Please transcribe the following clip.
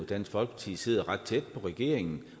dansk folkeparti sidder ret tæt på regeringen